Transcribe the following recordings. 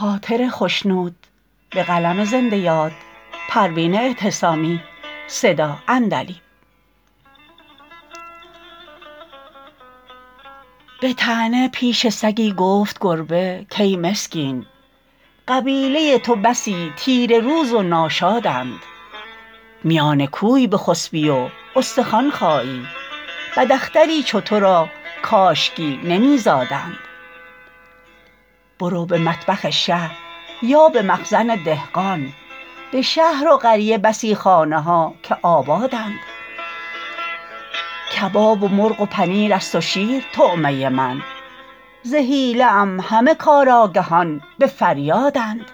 بطعنه پیش سگی گفت گربه کای مسکین قبیله تو بسی تیره روز و ناشادند میان کوی بخسبی و استخوان خایی بداختری چو تو را کاشکی نمیزادند برو به مطبخ شه یا بمخزن دهقان بشهر و قریه بسی خانه ها که آبادند کباب و مرغ و پنیر است و شیر طعمه من ز حیله ام همه کار آگهان بفریادند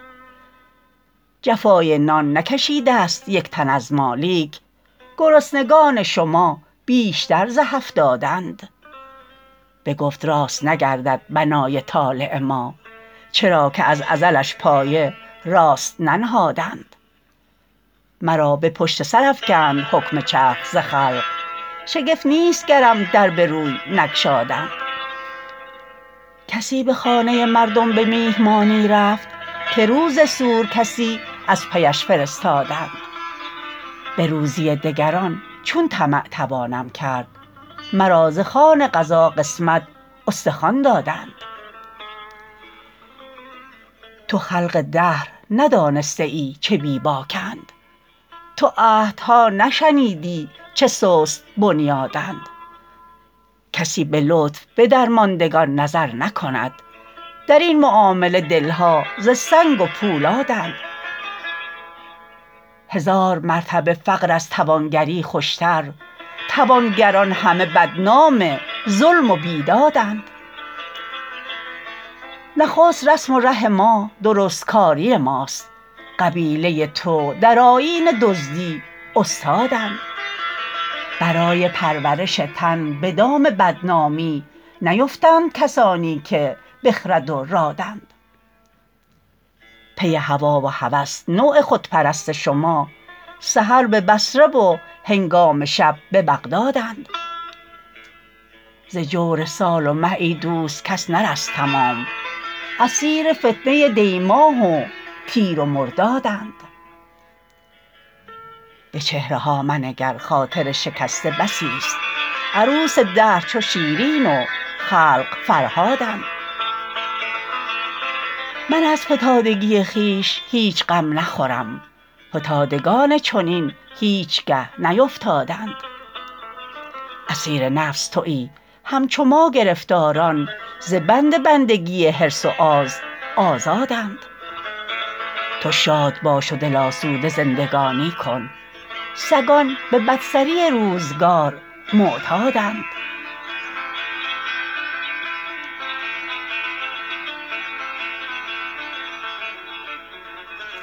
جفای نان نکشیدست یکتن از ما لیک گرسنگان شما بیشتر ز هفتادند بگفت راست نگردد بنای طالع ما چرا که از ازلش پایه راست ننهادند مرا به پشت سرافکند حکم چرخ ز خلق شگفت نیست گرم در بروی نگشادند کسی بخانه مردم بمیهمانی رفت که روز سور کسی از پیش فرستادند بروزی دگران چون طمع توانم کرد مرا ز خوان قضا قسمت استخوان دادند تو خلق دهر ندانسته ای چه بی باکند تو عهدها نشنیدی چه سست بنیادند کسی بلطف بدرماندگان نظر نکند درین معامله دلها ز سنگ و پولادند هزار مرتبه فقر از توانگری خوشتر توانگران همه بدنام ظلم و بیدادند نخست رسم و ره ما درستکاری ماست قبیله تو در آیین دزدی استادند برای پرورش تن بدام بدنامی نیوفتند کسانی که بخرد و رادند پی هوی و هوس نوع خودپرست شما سحر ببصره و هنگام شب ببغدادند ز جور سال و مه ایدوست کس نرست تمام اسیر فتنه دیماه و تیر و مردادند بچهره ها منگر خاطر شکسته بسی است عروس دهر چو شیرین و خلق فرهادند من از فتادگی خویش هیچ غم نخورم فتادگان چنین هیچگه نیفتادند اسیر نفس تویی همچو ما گرفتاران ز بند بندگی حرص و آز آزادند تو شاد باش و دل آسوده زندگانی کن سگان به بدسری روزگار معتادند